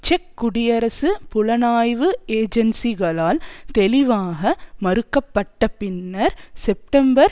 check குடியரசு புலனாய்வு ஏஜென்சிகளால் தெளிவாக மறுக்கப்பட்டபின்னர் செப்டம்பர்